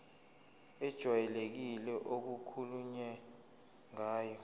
ejwayelekile okukhulunywe ngayo